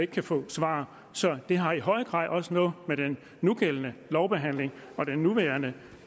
kan få svar så det har i høj grad også noget med den nugældende lovbehandling og det nuværende